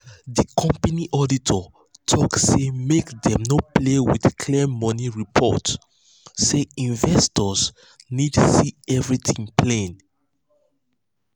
the company auditor talk say make dem no play with clear money report say investors need see everything plain.